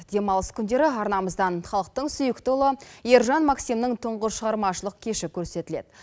демалыс күндері арнамыздан халықтың сүйікті ұлы ержан максимнің тұңғыш шығармашылық кеші көрсетіледі